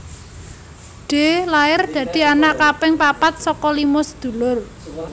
Dee lair dadi anak kaping papat saka lima sedulur